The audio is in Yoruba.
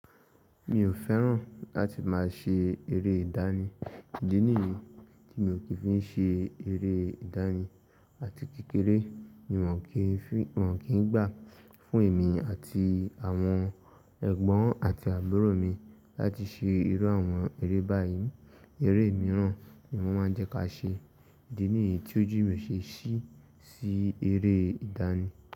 Mi ò fẹ́ràn láti máa ṣe eré ìdánì, di nìyí tí mi ò kí ń fi ṣe eré ìdánì àti kékeré mi wọ́n kì í gbà fún èmi àti àwọn ẹ̀gbọ́n àti àbúrò mi láti ṣe irú àwọn eré báyìí. Eré mìíràn ni mo máa ń jẹ́ ká ṣe idi nìyí tí ojú mi ò ṣe ṣí sí eré ìdánì.